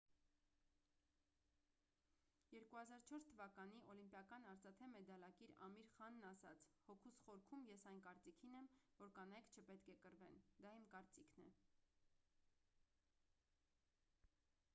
2004 թվականի օլիմպիական արծաթե մեդալակիր ամիր խանն ասաց հոգուս խորքում ես այն կարծիքին եմ որ կանայք չպետք է կռվեն դա իմ կարծիքն է